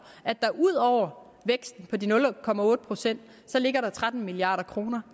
at der ud over væksten på de nul procent ligger tretten milliard kroner